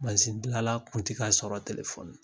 gilala kun ti ga sɔrɔ na .